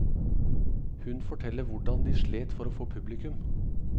Hun forteller hvordan de slet for å få publikum.